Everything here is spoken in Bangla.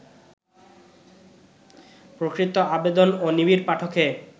প্রকৃত আবেদন ও নিবিড় পাঠকে